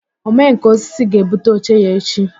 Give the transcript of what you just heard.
Omenkà osisi ga-ebute oche ya echi